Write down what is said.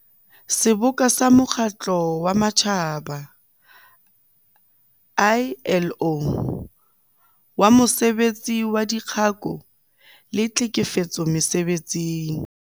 Seboka sa Mokgatlo wa Matjhaba, ILO, wa Mosebetsi saDikgako le Tlhekefetso Mese-betsing.